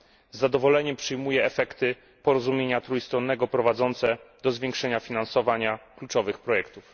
Z zadowoleniem przyjmuję efekty porozumienia trójstronnego prowadzące do zwiększenia finansowania kluczowych projektów.